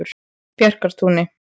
Bjarkartúni